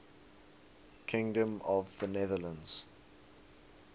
kingdom of the netherlands